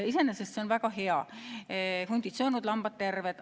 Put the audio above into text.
Iseenesest see on väga hea – hundid söönud, lambad terved.